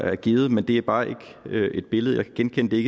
er givet men det er bare ikke et billede jeg kan genkende det er